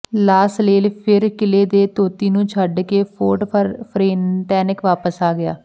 ਲਾ ਸਲੇਲ ਫਿਰ ਕਿਲ੍ਹੇ ਦੇ ਤੌਤੀ ਨੂੰ ਛੱਡ ਕੇ ਫੋਰਟ ਫਰਨੇਟਨੈਕ ਵਾਪਸ ਆ ਗਿਆ